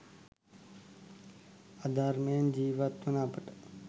අධර්මයෙන් ජීවත් වන අපට